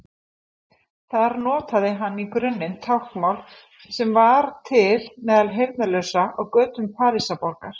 Þar notaði hann í grunninn táknmál sem þegar var til meðal heyrnarlausra á götum Parísarborgar.